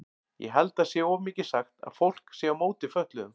Ég held það sé of mikið sagt að fólk sé á móti fötluðum.